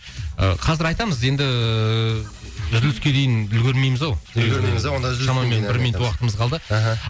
ы қазір айтамыз енді үзіліске дейін үлгермейміз ау үлгермейміз ау онда үзілістен кейін шамамен бір минут уақытымыз қалды мхм